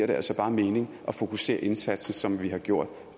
det altså bare mening at fokusere indsatsen som vi har gjort